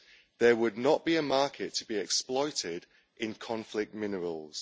there would not be a market to be exploited in conflict minerals.